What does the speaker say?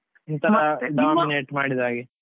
ಮಾಡಿದ ಹಾಗೆ.